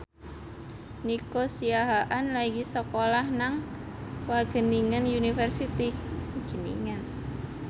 Nico Siahaan lagi sekolah nang Wageningen University